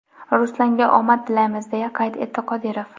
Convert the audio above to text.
Ruslanga omad tilaymiz!” deya qayd etdi Qodirov.